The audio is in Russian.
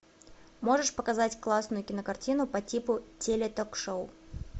можешь показать классную кинокартину по типу теле ток шоу